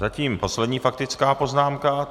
Zatím poslední faktická poznámka.